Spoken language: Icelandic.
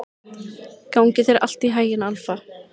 Gangi þér allt í haginn, Alfa.